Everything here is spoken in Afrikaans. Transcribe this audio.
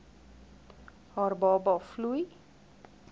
haar baba vloei